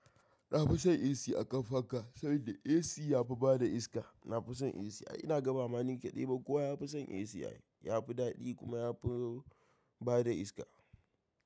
Na fi son AC a ƙan fanka, saboda AC yafi bada iska. Na fi son AC, ina ga, ba ma nikadai ba kowa ya fi son AC, yafi daɗi kuma yafi bada iska.